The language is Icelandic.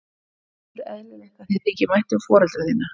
Mér finnst ofur eðlilegt að þér þyki vænt um foreldra þína.